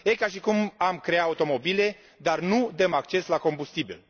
Este ca și cum am crea automobile, dar nu dăm acces la combustibil.